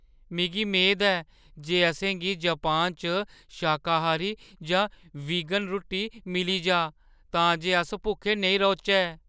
मिगी मेद ऐ जे असें गी जापान च शाकाहारी जां वीगन रुट्टी मिली जाऽ तां जे अस भुक्खे नेईं रौह्‌चै।